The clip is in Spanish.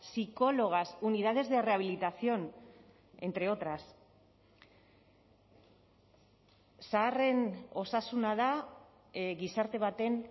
psicólogas unidades de rehabilitación entre otras zaharren osasuna da gizarte baten